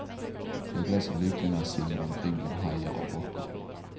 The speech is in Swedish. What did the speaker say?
Jag blev så lycklig när jag simmade omkring bland hajar och rockor.